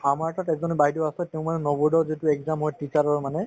আমাৰ তাত একজনী বাইদেউ আছে তেওঁ মানে নবোদয়ত যিটো exam হয় teacher ৰৰ মানে